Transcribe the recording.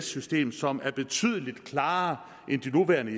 system som er betydelig klarere end de nuværende